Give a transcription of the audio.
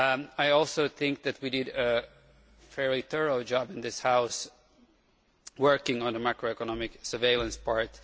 I also think that we did a fairly thorough job in this House of working on the macroeconomic surveillance part.